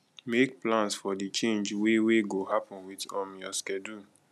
make plans for di change wey wey go happen with um your schedule